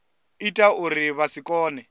ita uri vha si kone